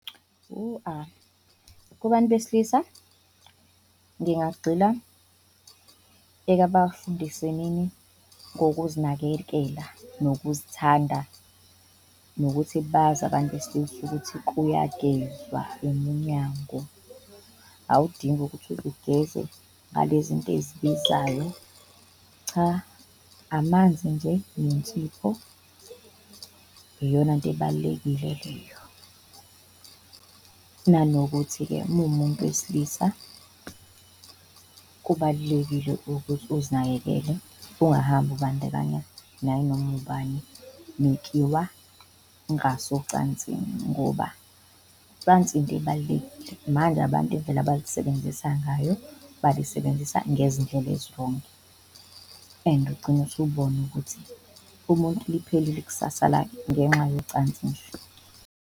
Kubantu besilisa ngingagxila ekabafundisenini ngokuzinakekela nokuzithanda, nokuthi bazi abantu besilisa ukuthi kuyagezwa umunyango awudingi ukuthi uze ugeze ngale zinto ezibizayo cha, amanzi nje nensipho iyonanto ebalulekile leyo. Nanokuthi-ke uma uwumuntu wesilisa kubalulekile ukuthi uzinakekele ungahambi ukubandakanya nayinoma ubani mekuyiwa ngasocansini ngoba ucansi into ebaluleke. Manje abantu indlela abalisebenzisa ngayo balisebenzisa ngezindlela ezi-wrong-i and ugcina usubona ukuthi ubona ukuthi umuntu liphelile iksasa lakhe ngenxa yocansi nje.